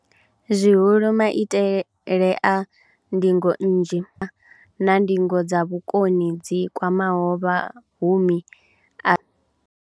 Zwihulu, maitele a ndingo nnzhi, na ndingo dza vhukoni dzi kwamaho vha mahumi a.